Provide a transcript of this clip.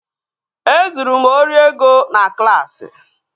E zuru m ori ego na klaasị